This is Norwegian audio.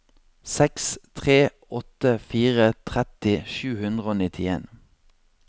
seks tre åtte fire tretti sju hundre og nittien